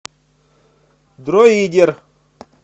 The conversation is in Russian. дроидер